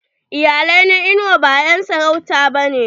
Iyalai na inuwa ba en sarauta ba ne.